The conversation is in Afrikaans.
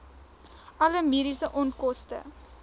alle mediese onkoste